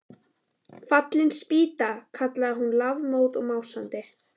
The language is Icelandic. Fallin spýta! kallaði hún lafmóð og másandi.